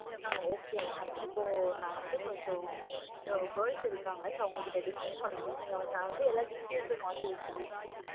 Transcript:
அஹ் okay mam இப்ப நா வந்து கொஞ்சம் இந்த girls இருகாங்க so அவங்க கிட்ட discuss பன்னனும். நா வந்து எல்லா details எல்லாமே வாங்கி வச்சிக்கிறேன் mam